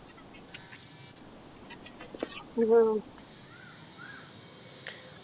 ഇതോ